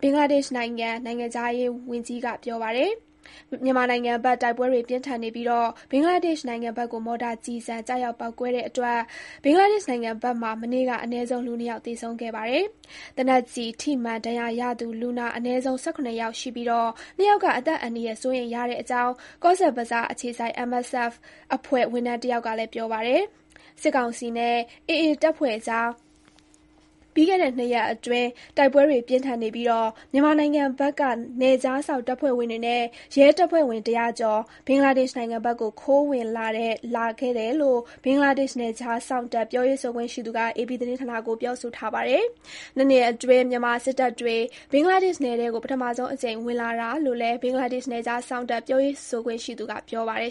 ဘင်္ဂလားဒေ့ရှ်နိုင်ငံ နိုင်ငံခြားရေးဝန်ကြီးက ပြောပါတယ်။ မြန်မာနိုင်ငံဘက် တိုက်ပွဲတွေ ပြင်းထန်နေပြီး ဘင်္ဂလားဒေ့ရှ်နိုင်ငံဘက်ကို မော်တာကျည်ဆံ ကျရောက်ပေါက်ကွဲတဲ့ အတွက် ဘင်္ဂလားဒေ့ရှ် နိုင်ငံဘက်မှာ မနေ့က အနည်းဆုံး လူ ၂ ယောက် သေဆုံးခဲ့ပါတယ်။ သေနတ်ကျည် ထိမှန်ဒဏ်ရာရသူ လူနာ အနည်းဆုံး ၁၇ ယောက် ရှိခဲ့ပြီး၊ ၂ ယောက်က အသက်အန္တရာယ် စိုးရိမ်ရတဲ့အကြောင်း Cox's Bazar အခြေစိုက် MSF အဖွဲ့ ဝန်ထမ်းတယောက်ကလည်း ပြောပါတယ်။ စစ်ကောင်စီနဲ့ ရခိုင်လက်နက်ကိုင် တပ်ဖွဲ့ အကြား တိုက်ပွဲတွေ ဆက်လက် ပြင်းထန်နေပြီး ပြီးခဲ့တဲ့ နှစ်ရက်အတွင်း မြန်မာနိုင်ငံဘက်က နယ်ခြားစောင့်တပ်ဖွဲ့ဝင်တွေနဲ့ ရဲတပ်ဖွဲ့ဝင် ၁၀၀ ကျော် ဘင်္ဂလားဒေ့ရှ်နိုင်ငံဘက်ကို ခိုဝင်လာခဲ့တယ်လို့ ဘင်္ဂလားဒေ့ရှ် နယ်ခြားစောင့်တပ် ပြောရေးဆိုခွင့်ရှိသူ Shariful Islam က AP သတင်းဌာနကို ပြောဆိုထားပါတယ်။ ၂ နှစ်အတွင်း မြန်မာစစ်သားတွေ ဘင်္ဂလားဒေ့ရှ် နယ်ထဲကို ပထမဆုံးအကြိမ် ဝင်လာတာလို့လည်း ဘင်္ဂလားဒေ့ရှ် နယ်ခြားစောင့်တပ် ပြောရေးဆိုခွင့်ရှိသူက ပြောပါတယ်